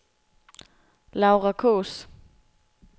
Laura Kaas